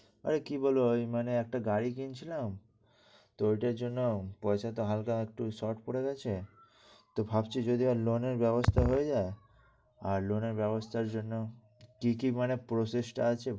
আরে কি বলবো, মানে একটা গাড়ি কিনছিলাম। তো ওটার জন্য পয়সা তো হালকা একটু short পড়ে গেছে, তো ভাবছি যদি loan এর ব্যবস্থা হয়ে যায়। আর loan এর ব্যবস্থার জন্য কি কি মানে process আছে